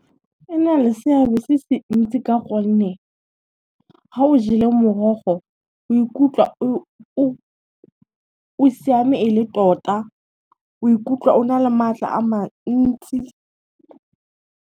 E na le seabe se se ntsi ka gonne, ga o jelwe morogo o ikutlwa o siame e le tota, o ikutlwa o na le matla a mantsi.